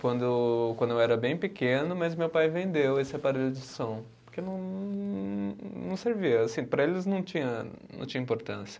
quando, quando eu era bem pequeno, mas meu pai vendeu esse aparelho de som, porque não, não servia, assim, para eles não tinha, não tinha importância.